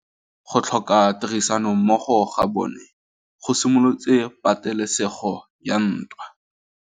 Go tlhoka tirsanommogo ga bone go simolotse patêlêsêgô ya ntwa.